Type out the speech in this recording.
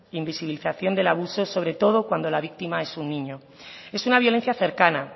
invisibilización del abuso sobre todo cuando la víctima es un niño es una violencia cercana